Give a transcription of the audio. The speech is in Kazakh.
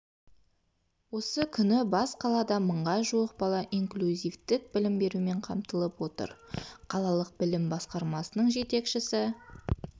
осы күні бас қалада мыңға жуық бала инклюзивтік білім берумен қамтылып отыр қалалық білім басқармасының жетекшісі